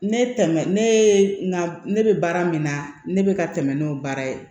Ne tɛmɛ ne ye n ka ne bɛ baara min na ne bɛ ka tɛmɛ n'o baara ye